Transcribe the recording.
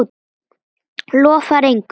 Lofar engu.